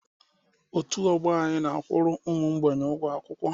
Otu ọgbọ anyị na a kwuru ụmụ ógbènye ụgwọ akwụkwọ